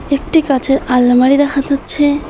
একটি কাঁচের আলমারি দেখা যাচ্ছে।